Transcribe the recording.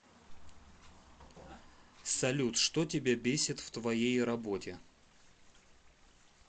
салют что тебя бесит в твоей работе